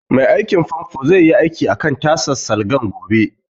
Mai aikin fanfo zai yi aikin akan tasan salgan gobe